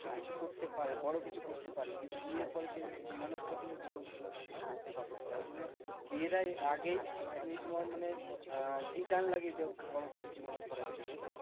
সে কিছু করতে পারে বড় কিছু করতে পারে। কিন্তু বিয়ের পরে সেই মানুষটা কিন্তু বড় কিচ্ছু করতে পারে না। তাই জন্য বিয়েটার আগেই তুমি তোমার মানে আহ লাগিয়ে দেব বড় কিছু জীবনে করার জন্য।